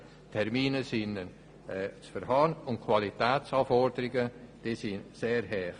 Die Termine sind realistisch, und die Qualitätsanforderungen sind sehr hoch.